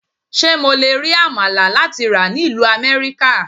Ṣé mo le rí Àmàlà láti rà ní ìlú Amẹ́ríkà?